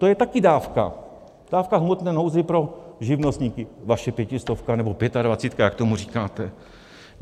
To je taky dávka, dávka v hmotné nouzi pro živnostníky, vaše Pětistovka, nebo Pětadvacítka, jak tomu říkáte.